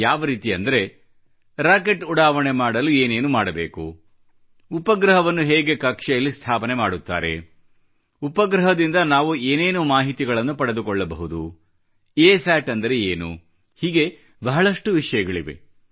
ಯಾವ ರೀತಿ ಅಂದರೆ ರಾಕೆಟ್ ಉಡಾವಣೆ ಮಾಡಲು ಏನೇನು ಮಾಡಬೇಕು ಉಪಗ್ರಹವನ್ನು ಹೇಗೆ ಕಕ್ಷೆಯಲ್ಲಿ ಸ್ಥಾಪನೆ ಮಾಡುತ್ತಾರೆ ಉಪಗ್ರಹದಿಂದ ನಾವು ಏನೇನು ಮಾಹಿತಿಗಳನ್ನು ಪಡೆದುಕೊಳ್ಳಬಹುದು ಅಸತ್ ಅಂದರೆ ಏನು ಹೀಗೆ ಬಹಳಷ್ಟು ವಿಷಯಗಳಿವೆ